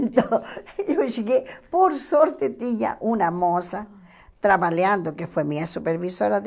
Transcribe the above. Então, eu cheguei, por sorte tinha uma moça trabalhando, que foi minha supervisora.